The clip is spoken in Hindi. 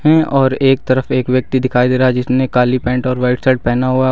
हैं और एक तरफ एक व्यक्ति दिखाई दे रहा है जिसने काली पैंट और व्हाइट शर्ट पहना हुआ --